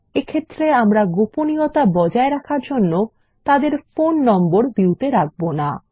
এক্ষেত্রে আমরা গোপনীয়তা বজায় রাখার জন্য তাদের ফোন নম্বর ভিউ তে রাখবো না